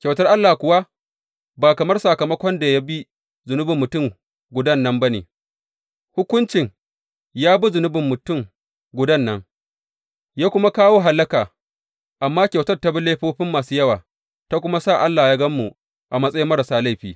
Kyautar Allah kuwa ba kamar sakamakon da ya bi zunubin mutum gudan nan ba ne, Hukuncin ya bi zunubin mutum gudan nan, ya kuma kawo hallaka, amma kyautar ta bi laifofin masu yawa ta kuma sa Allah ya gan mu a matsayin marasa laifi.